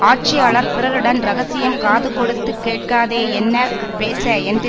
ஆட்சியாளர் பிறருடன் ரகசியம் காதுகொடுத்துக் கேட்காதே என்ன பேச்சு என்று